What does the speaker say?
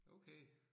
Okay